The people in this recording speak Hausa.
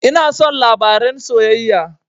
Ina son labaren soyayya